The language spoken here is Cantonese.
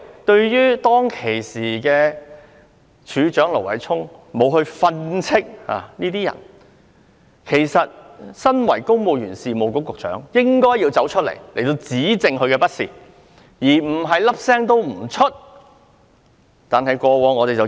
當時，警務處處長盧偉聰沒有訓斥這些下屬，但公務員事務局局長理應指斥他們，而不是一聲不吭。